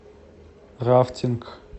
рафтинг